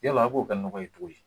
Yala A b'o kɛ nɔgɔ ye cogo di